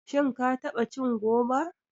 Shin ka taɓa cin goba?